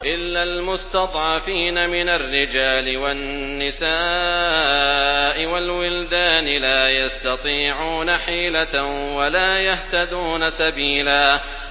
إِلَّا الْمُسْتَضْعَفِينَ مِنَ الرِّجَالِ وَالنِّسَاءِ وَالْوِلْدَانِ لَا يَسْتَطِيعُونَ حِيلَةً وَلَا يَهْتَدُونَ سَبِيلًا